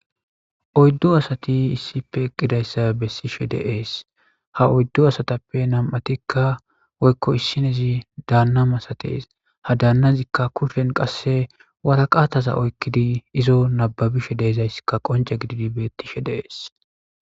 Oyddo asati issippe eqqidayssa bessishe deees ha oyddo asatappe nam'atikka woykko issinezi daanna masates ha daannazikka kushen qasse waraqaataza oykkidi izo nababishe deizayssikka qonce gididi bettishe dees.